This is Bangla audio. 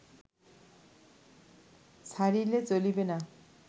ছাড়িলে চলিবে না